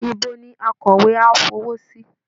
Ibo ni akọ̀wé á fọwọ́ sí?